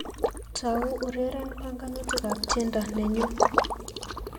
Tau ureren banganutikab tiendo nenyu